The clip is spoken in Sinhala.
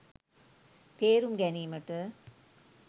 තේරුම් ගැනීමට